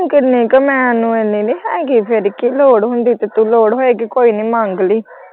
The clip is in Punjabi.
ਕਿੰਨੇ ਕੁ ਮੈਂ ਮੈਨੂੰ ਇੰਨੇ ਨਹੀਂ ਹੈਗੇ ਫੇਰ ਕੀ ਲੋੜ ਹੁੰਦੀ ਕੀਤੇ ਲੋੜ ਹੋਏਗੀ ਕੋਈ ਨਹੀਂ ਮੰਗ ਲਈ।